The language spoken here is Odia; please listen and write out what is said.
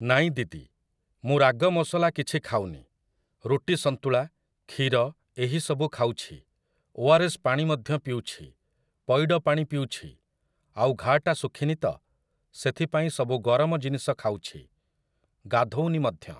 ନାଇଁ ଦିଦି! ମୁଁ ରାଗ ମସଲା କିଛି ଖାଉନି, ରୁଟି ସନ୍ତୁଳା, କ୍ଷୀର ଏହି ସବୁ ଖାଉଛି, ଓଆର୍‌ଏସ୍ ପାଣି ମଧ୍ୟ ପିଉଛି, ପଇଡ଼ ପାଣି ପିଉଛି । ଆଉ ଘା ଟା ଶୁଖିନି ତ, ସେଥି ପାଇଁ ସବୁ ଗରମ ଜିନିଷ ଖାଉଛି, ଗାଧୋଉନି ମଧ୍ୟ ।